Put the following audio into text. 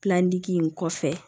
in kɔfɛ